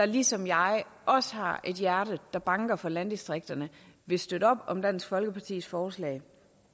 ligesom jeg har et hjerte der banker for landdistrikterne vil støtte op om dansk folkepartis forslag